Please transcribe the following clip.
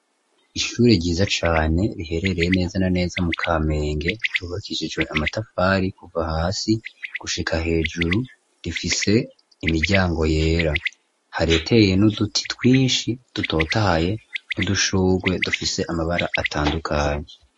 Ishuri ryiza cane riherereye neza na neza mu kamenge ryubakishijwe amatafari kuva hasi gushika hejuru rifise imiryango yera hareteye n'uduti twinshi dutotahaye n'udushugwe dufise amabara atandukanye.